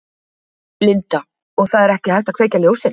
Linda: Og það er ekki hægt að kveikja ljósin?